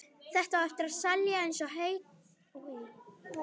Þetta á eftir að seljast eins og heitar lummur.